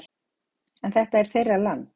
En þetta er þeirra land